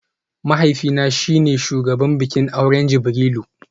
Mahaifina shi ne shugaban bikin auren Jibrilu